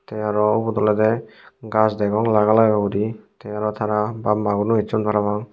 tey aro ubot olodey gaaj degong laga laga guri tey aro tara bap maguno esson parapang.